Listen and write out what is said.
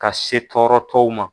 Ka se tɔɔrɔtɔw ma.